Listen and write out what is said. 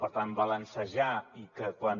per tant balancejar i que quan